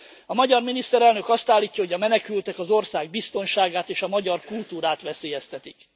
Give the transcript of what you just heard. A magyar miniszterelnök azt állítja, hogy a menekültek az ország biztonságát és a magyar kultúrát veszélyeztetik.